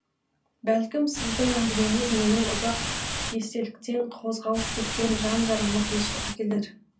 бәлкім сіздің әңгімеңіз менің ұзақ естеліктен қозғалып кеткен жан жарама тыныштық әкелер